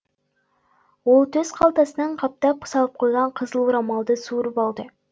ол төс қалтасына қаттап салып қойған қызыл орамалды суырып алды